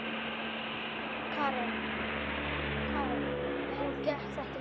Karen: Og gekk þetta vel?